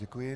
Děkuji.